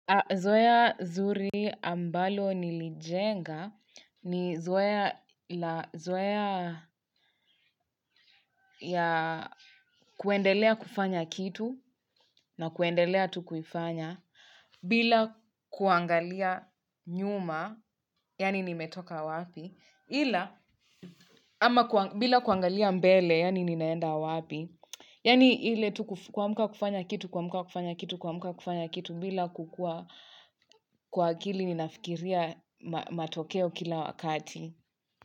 Zoea zuri ambalo nilijenga ni zoea la kuendelea kufanya kitu na kuendelea tu kuifanya bila kuangalia nyuma yaani nimetoka wapi ila ama bila kuangalia mbele yaani ninaenda wapi. Yaani ile tu kuamka kufanya kitu, kuamka kufanya kitu, kuamka kufanya kitu bila kukuwa kwa akili ninafikiria matokeo kila wakati.